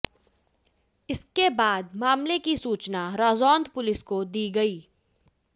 इसके बाद मामले की सूचना राजौंद पुलिस को दी गई